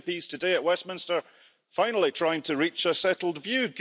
We see MPs today at Westminster finally trying to reach a settled view.